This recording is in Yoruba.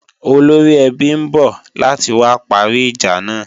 Olóríẹbí ń bọ̀ láti wá parí ìjà náà